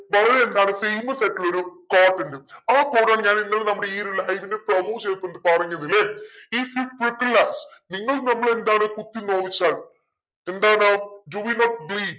വളരെ എന്താണ് famous ആയിട്ടുള്ളൊരു quote ഇണ്ട് ആ quote ആണ് ഞാൻ ഇന്നലെ നമ്മളെ ഈ ഇതിന്റെ പറഞ്ഞതല്ലെ നിങ്ങൾ നമ്മളെ എന്താണ് കുത്തി നോവിച്ചാൽ എന്താണ്